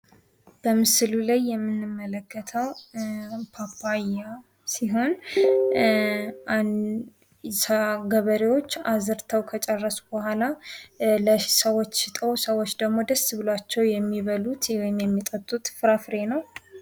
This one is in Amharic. በምሥሉ ላይ የምንመለከተው ፓፓያ ሲሆን ፤ ገበሬዎች አዝርተው ከጨረሱ በኋላ ለሰዎች ሽጠው ሰዎች ደግሞ ደስ ብሏቸው የሚበሉት ወይም የሚጠጡት ፍራፍሬ ነው።